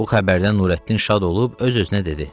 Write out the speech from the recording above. Bu xəbərdən Nurəddin şad olub öz-özünə dedi: